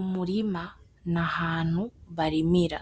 Umurima n'ahantu barimira